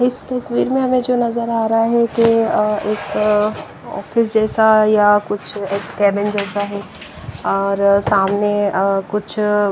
इस तस्वीर में हमें जो नजर आ रहा है कि एक ऑफिस जैसा या कुछ कैबिन जैसा है और सामने अ कुछ--